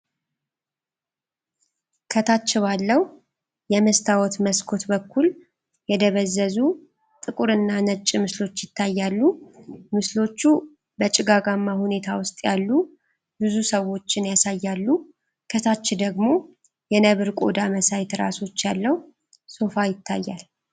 ከታች ባለው የመስታወት መስኮት በኩል የደበዘዙ ጥቁርና ነጭ ምስሎች ይታያሉ። ምስሎቹ በጭጋጋማ ሁኔታ ውስጥ ያሉ ብዙ ሰዎችን ያሳያሉ። ከታች ደግሞ የነብር ቆዳ መሳይ ትራሶች ያለው ሶፋ ይታያል።